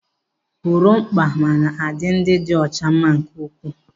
Gorimakpa mma na-adị ndị dị ọcha mma nke ukwuu.